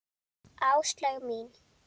Áslaug mín!